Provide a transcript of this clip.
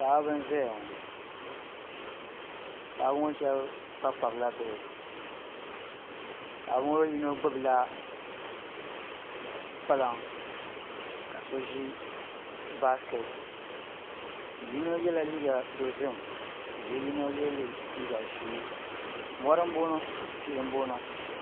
Paɣaba n ʒɛya ŋo paɣaba ŋo shab kpabi kpabila bihi paɣa bi ŋo yino gbubila kpalaŋa ka so ʒi baskɛti yino yɛla liiga dozim ka yino yɛ liiga ʒiɛ mori n boŋo tihi n boŋo